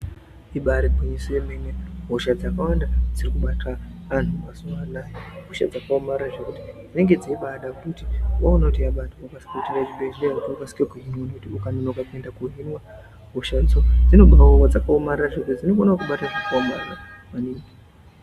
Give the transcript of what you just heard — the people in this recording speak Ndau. Ibaari gwinyiso yemene hosha dzakawanda dzirikubata antu mazuva anaya ihosha dzakaomarara zvekuti dzinenge dzeibaada kuti waona kuti yabata wokasire kuenda kuchibhehleya wokasike koohinwa. Ngekuti ukanonoka kuende koohiniwa hoshadzo dzinobaauya dzakaomarara zvekuti dzinokona kukubata zvakaomarara maningi.